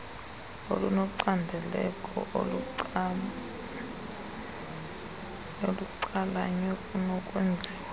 olunocandeko olucalanye kunokwenziwa